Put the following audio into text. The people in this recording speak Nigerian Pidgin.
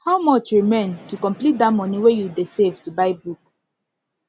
how much remain to complete dat money wey you dey save to buy book